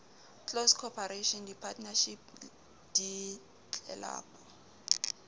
close corporation di partnership ditlelapo